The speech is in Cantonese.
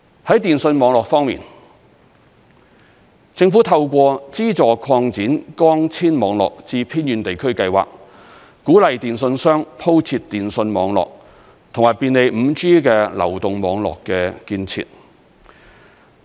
在電訊網絡方面，政府透過資助擴展光纖網絡至偏遠地區計劃，鼓勵電訊商鋪設電訊網絡，以及便利第五代流動網絡的建設。